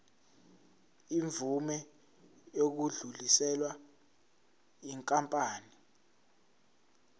imvume yokudluliselwa yinkampani